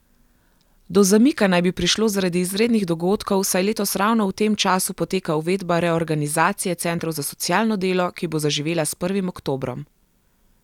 Do zamika naj bi prišlo zaradi izrednih dogodkov, saj letos ravno v tem času poteka uvedba reorganizacije centrov za socialno delo, ki bo zaživela s prvim oktobrom.